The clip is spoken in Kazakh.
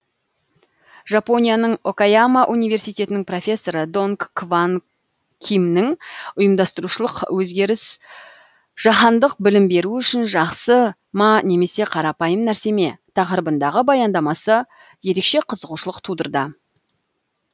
жапонияның окаяма университетінің профессоры донг кванг кимнің ұйымдастырушылық өзгеріс жаһандық білім беру үшін жақсы ма немесе қарапайым нәрсе ме тақырыбындағы баяндамасы ерекше қызығушылық тудырды